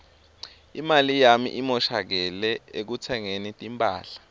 imali yami imoshakele ekutsengeni timphahla